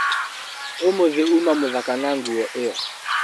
ũmũthĩ uma mũthaka na nguo ĩyo.